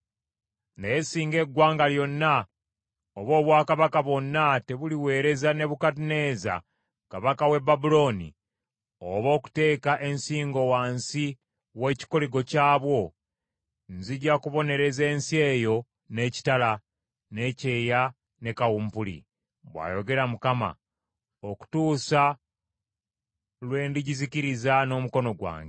“‘ “Naye singa eggwanga lyonna oba obwakabaka bwonna tebuliweereza Nebukadduneeza kabaka w’e Babulooni oba okuteeka ensingo wansi w’ekikoligo ky’abwo, nzija kubonereza ensi eyo n’ekitala, n’ekyeya, ne kawumpuli, bw’ayogera Mukama , okutuusa lwe ndigizikiriza n’omukono gwange.